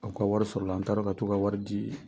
Aw ka wari sɔrɔ la an taara ka t'u ka wari di ye